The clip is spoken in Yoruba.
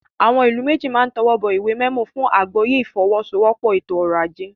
Àwọn ìlú méjì máa tọwọ́ bọ ìwé mẹmọ fún àgbọ́yé ìfọwọ́sowọ́pọ̀ ètò ọrọ̀-ajé.